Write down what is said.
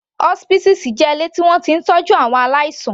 Hospices jẹ́ ilé tí wọ́n ti ń tọ́jú àwọn aláìsàn.